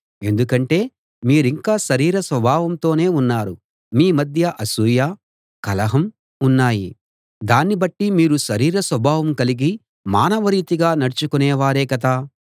ఎందుకంటే మీరింకా శరీర స్వభావంతోనే ఉన్నారు మీ మధ్య అసూయ కలహం ఉన్నాయి దాన్ని బట్టి మీరు శరీర స్వభావం కలిగి మానవ రీతిగా నడచుకొనేవారే కదా